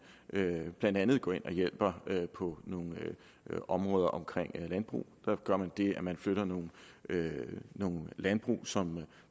blandt andet går ind og hjælper på nogle områder omkring landbruget der gør man det at man flytter nogle nogle landbrug som